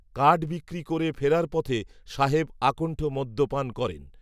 কাঠ, বিক্রি, করে, ফেরার পথে, সাহেব, আকন্ঠ মদ্যপান করেন